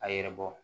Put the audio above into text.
A yɛrɛ bɔ